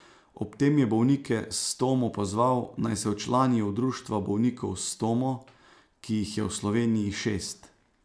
Ob tem je bolnike s stomo pozval, naj se včlanijo v društva bolnikov s stomo, ki jih je v Sloveniji šest.